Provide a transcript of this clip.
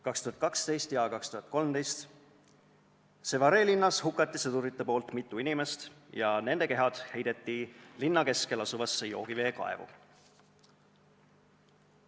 2012 ja 2013: Sévaré linnas hukkasid sõdurid mitu inimest ja nende kehad heideti linna keskel asuvasse joogiveekaevu.